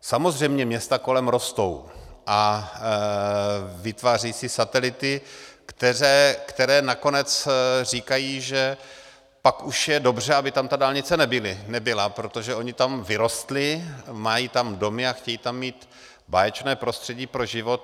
Samozřejmě města kolem rostou a vytvářejí si satelity, které nakonec říkají, že pak už je dobře, aby tam ta dálnice nebyla, protože oni tam vyrostli, mají tam domy a chtějí tam mít báječné prostředí pro život.